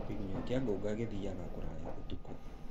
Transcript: Kĩgunyũ kĩa ngũnga gĩthiyaga kũraya ũtukũ.